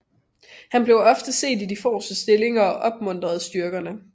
Han blev ofte set i de forreste stillinger og opmuntrede styrkerne